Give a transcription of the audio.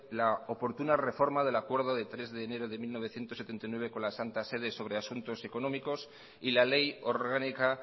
la oportuna reforma del acuerdo de tres de enero de mil novecientos setenta y nueve con la santa sede sobre asuntos económicos y la ley orgánica